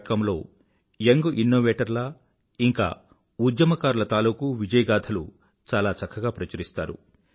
comలో young innovator ల ఇంకా ఉద్యమకారుల తాలూకూ విజయగాథలు చాలా చక్కగా ప్రచురిస్తారు